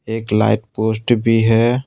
एक light post भी है।